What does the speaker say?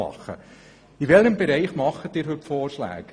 Welchen Bereich betreffen die heutigen Vorschläge?